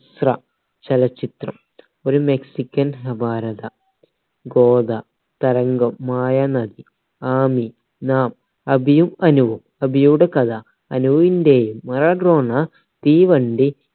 എസ്ര ചലച്ചിത്രം ഒരു മെക്സിക്കൻ അപാരത ആമിനം അഭിയും അനുവും അഭിയുടെ കഥ അനുവിന്റെയും മറഡോണ തീവണ്ടി